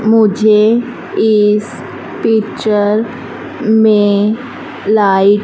मुझे इस पिक्चर में लाइट --